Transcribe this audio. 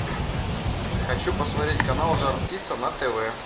хочу посмотреть канал жар птица на тв